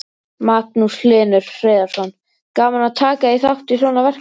Magnús Hlynur Hreiðarsson: Gaman að taka þátt í svona verkefni?